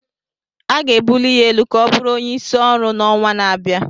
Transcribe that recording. A ga-ebuli ya elu ka ọ bụrụ onyeisi ọrụ n'ọnwa na-abịa